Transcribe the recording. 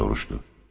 Deyə soruşdu.